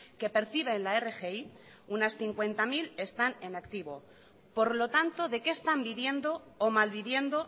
que perciben la rgi unas cincuenta mil están en activo por lo tanto de qué están viviendo o mal viviendo